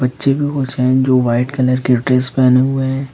बच्चे भी हुसैन जो व्हाइट कलर की ड्रेस पहने हुए हैं।